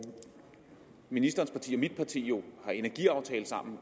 ministerens parti og mit parti jo har en energiaftale sammen